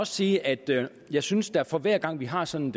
sige at jeg synes at for hver gang vi har sådan